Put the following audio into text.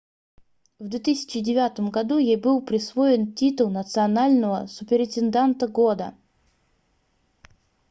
в 2009 году ей был присвоен титул национального суперинтенданта года